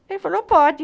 Ele falou, pode.